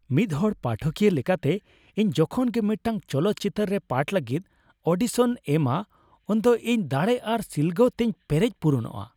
ᱢᱤᱫᱦᱚᱲ ᱯᱟᱴᱷᱚᱠᱤᱭᱟᱹ ᱞᱮᱠᱟᱛᱮ, ᱤᱧ ᱡᱚᱠᱷᱚᱱ ᱜᱮ ᱢᱤᱫᱴᱟᱝ ᱪᱚᱞᱚᱛ ᱪᱤᱛᱟᱹᱨ ᱨᱮ ᱯᱟᱴᱷ ᱞᱟᱹᱜᱤᱫ ᱚᱰᱤᱥᱚᱱ ᱤᱧ ᱮᱢᱟ ᱩᱱᱜᱮ ᱤᱧ ᱫᱟᱲᱮ ᱟᱨ ᱥᱤᱞᱜᱟᱹᱣ ᱛᱤᱧ ᱯᱮᱨᱮᱡ ᱯᱩᱨᱚᱱᱚᱜᱼᱟ ᱾